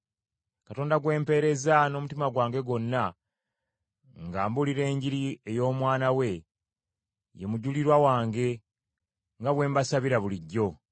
Katonda gwe mpeereza n’omutima gwange gwonna nga mbulira Enjiri ey’Omwana we, ye mujulirwa wange, nga bwe mbasabira bulijjo,